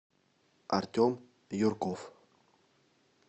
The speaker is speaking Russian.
артем юрков